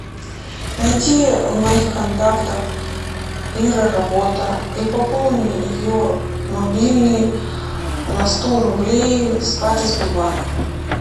найди в моих контактах ира работа и пополни ее мобильный на сто рублей с карты сбербанк